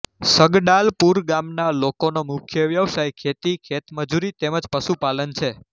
સગડાલપુર ગામના લોકોનો મુખ્ય વ્યવસાય ખેતી ખેતમજૂરી તેમ જ પશુપાલન છે